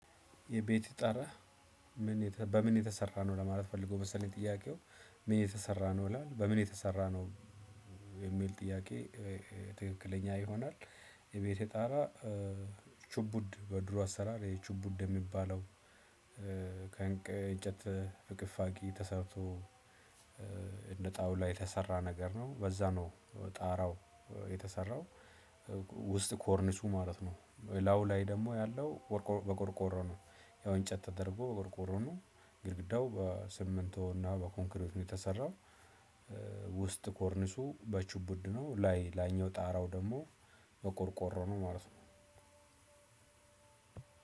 የቤትህ ጣራ ምን በምን የተሰራ ነው ለማለት ፈልጎ መሰለኝ። ጥያቄው ምን የተሰራ ነው ይላል በምን የተሰራ ነው የሚል ጥያቄ ትክክለኛ ይሆናል። የቤቴ ጣራ። ችቡድ በድሮ አሰራር ይሄ ችቡድ የሚባለው። ከእንጨት ፍቅፋቂ ተሰርቶ እንደ ጣውላ የተሰራ ነገር ነው በዛ ነው ጣራው የተሰራው። ውስጥ ኮርኒሱ ማለት ነው ላው ላይ ደግሞ ያለው በቆርቆሮ ነው። ያው እንጨት ተደርጎ በቆርቆሮ ነው። ግድግዳው በሲሚንቶ እና በኮንክሪት ነው የተሰራው። ውስጥ ኮርኒሱ በችቡድ ነው ላይ ላይኛው ጣራው ደግሞ በቆርቆሮ ነው ማለት ነው።